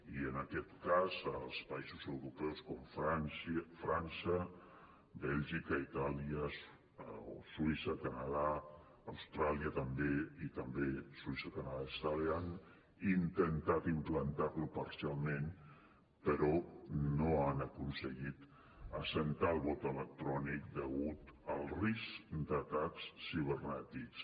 i en aquest cas a països europeus com frança bèlgica itàlia i també suïssa canadà austràlia han intentat implantar lo parcialment però no han aconseguit assentar el vot electrònic degut al risc d’atacs cibernètics